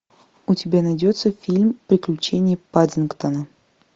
у тебя найдется фильм приключения паддингтона